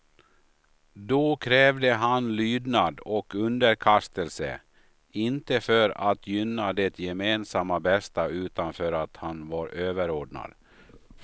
Då krävde han lydnad och underkastelse, inte för att gynna det gemensamma bästa, utan för att han var överordnad.